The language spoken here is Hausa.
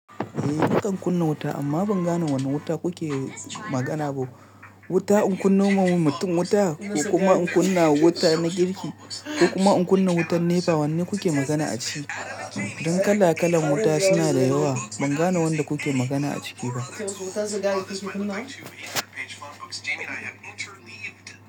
Eh nakan kunna wuta amma ban gane wane wuta kuke magana ba. Wuta in kunnomin mutum wuta ko kuma in kunna wuta na girki ko kuma in kunna wutan nepa. Wanne kuke magana a ciki? Don kala kalan wuta suna da yawa ban gane wanda kuke magana a ciki ba.